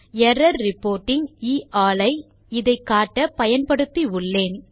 error reporting எ ஆல் ஐ இதை காட்ட பயன்படுத்தி உள்ளேன்